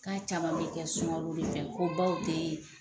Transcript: K'a caman bɛ kɛ sungalo de fɛ ko baw tɛ,